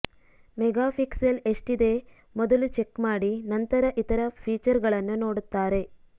megapixel ಎಷ್ಟಿದೆ ಮೊದಲು check ಮಾಡಿ ನಂತರ ಇತರ ಫೀಚರ್ಗಳನ್ನು ನೋಡುತ್ತಾರೆ